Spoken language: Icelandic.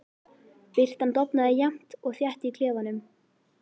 Birtan dofnaði jafnt og þétt í klefanum.